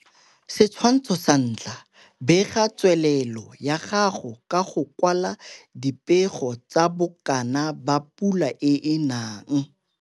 Setshwantsho sa 1 - Bega tswelelo ya gago ka go kwala dipego tsa bokana ba pula e e nang.